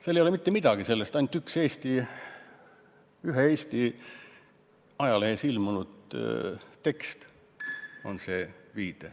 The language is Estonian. Seal ei ole mitte midagi selle kohta, viidatud on ainult ühele Eesti ajalehes ilmunud tekstile.